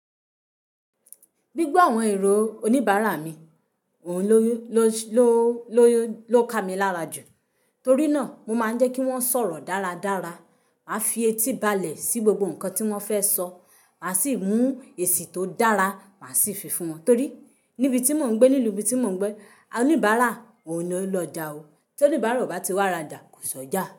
Gbígbọ́ àwọn èrò oníbàárà mi, òun ló, ló, ló, ló ká mi lára jù, torí náà mo máa ń jẹ́ kí wọ́n sọ̀rọ̀ dáradára. Màá fi etí balẹ̀ sí gbogbo nǹkan tí wọ́n fẹ́ sọ, màá sì mú èsì tó dára, màá sì fi fún wọn. Torí níbi tí mò ń gbé, nílùú tí mò ń gbé, oníbàárà ò ní lọ já o. Torí oníbàárà bá ti wá ra já, kò sọ já.